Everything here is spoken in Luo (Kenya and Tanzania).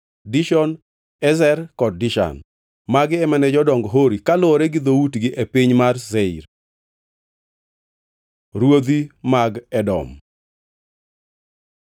Dishon, Ezer kod Dishan. Magi ema ne jodong jo-Hori, kaluwore gi dhoutgi e piny mar Seir. Ruodhi mag Edom